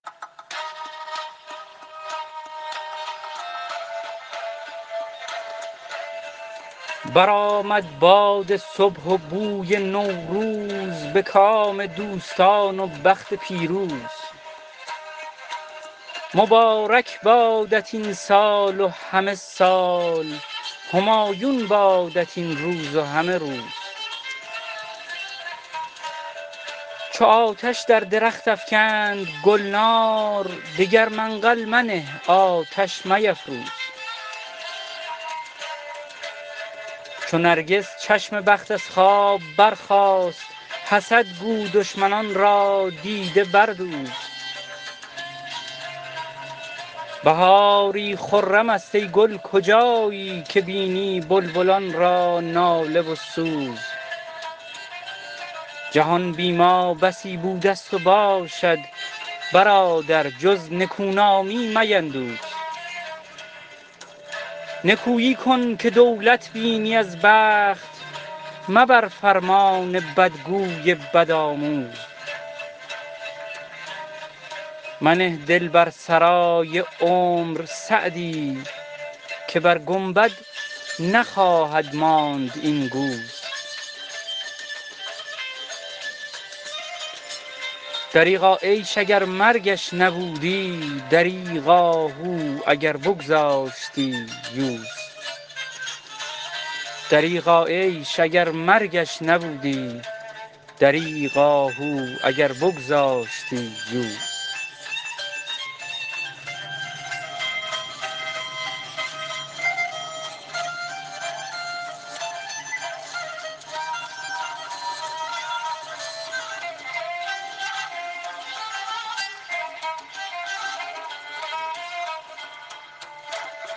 برآمد باد صبح و بوی نوروز به کام دوستان و بخت پیروز مبارک بادت این سال و همه سال همایون بادت این روز و همه روز چو آتش در درخت افکند گلنار دگر منقل منه آتش میفروز چو نرگس چشم بخت از خواب برخاست حسد گو دشمنان را دیده بردوز بهاری خرم است ای گل کجایی که بینی بلبلان را ناله و سوز جهان بی ما بسی بوده ست و باشد برادر جز نکونامی میندوز نکویی کن که دولت بینی از بخت مبر فرمان بدگوی بدآموز منه دل بر سرای عمر سعدی که بر گنبد نخواهد ماند این گوز دریغا عیش اگر مرگش نبودی دریغ آهو اگر بگذاشتی یوز